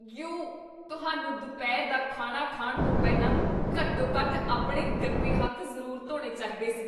You! ਤੁਹਾਨੂੰ ਦੁਪਹਿਰ ਦਾ ਖਾਣਾ ਖਾਣ ਤੋਂ ਪਹਿਲਾਂ ਘੱਟੋ ਘੱਟ ਆਪਣੇ ਗੰਦੇ ਹੱਥ ਜ਼ਰੂਰ ਧੋਣੇ ਚਾਹੀਦੇ ਸੀ